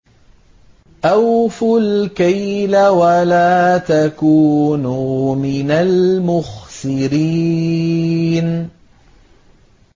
۞ أَوْفُوا الْكَيْلَ وَلَا تَكُونُوا مِنَ الْمُخْسِرِينَ